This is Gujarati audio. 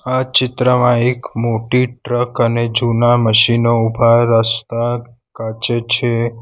આ ચિત્રમાં એક મોટી ટ્રક અને જુના મશીનો ઉભા રસ્તા કાચે છે.